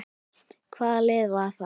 Hvaða lið var það?